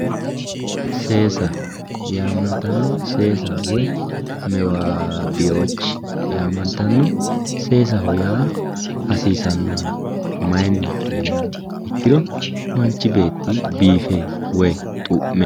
Seesa woyi mewaabiwoochi yaamantanno seesaho yaa hasiisannoho mayiinni yiniha ikkiro manchi beeti biife woyi xu'me